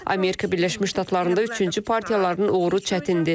Amerika Birləşmiş Ştatlarında üçüncü partiyaların uğuru çətindir.